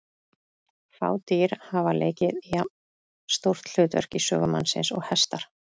Fá dýr hafa leikið jafn stórt hlutverk í sögu mannsins og hestar.